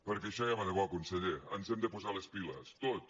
perquè això ja va de bo conseller ens hem de posar les piles tots